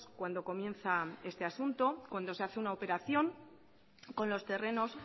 cuando comienza este asunto cuando se hace una operación con los terrenos